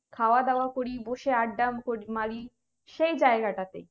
খাওয়াদাওয়া করি বসে আড্ডা করি মারি সেই জায়গাটা তেইশ।